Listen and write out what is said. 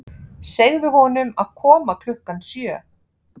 Segðu honum að koma klukkan sjö.